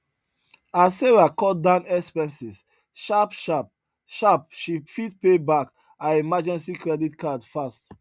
as sarah cut down expenses sharp sharp sharp she fit pay back her emergency credit card fast